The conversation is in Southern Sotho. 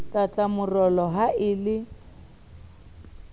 tlala morolo ha e le